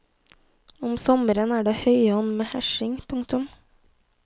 Om sommeren er det høyonn med hesjing. punktum